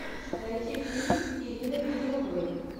найти фильм с ириной безруковой